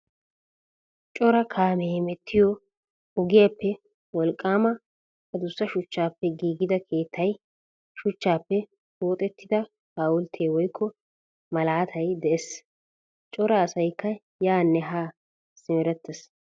Cora kaame hemettiyo ogiayappe wolqqama addussa shuchchappe giigida keettay, shuchchappe pooxettida hawultte woykko malaatay de'ees. Cora asaykka yaane haa simerettees.